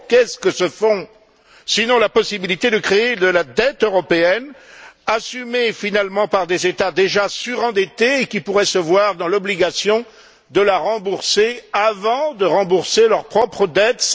Or, qu'est ce que ce fonds, sinon la possibilité de créer une dette européenne, assumée finalement par des États déjà surendettés et qui pourraient se voir dans l'obligation de la rembourser avant de rembourser leurs propres dettes?